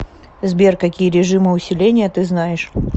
сбер какие режимы усиления ты знаешь